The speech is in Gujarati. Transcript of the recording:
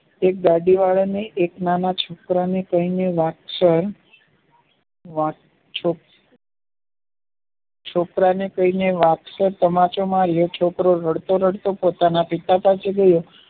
એક દાદી આવીને નાના છોકરા તેમને વત્સેન છોકરાને કહીને વાગશે તમાચો માર્યો છોકરો રડતો રડતો પોતાના પિતા પાસે ગયો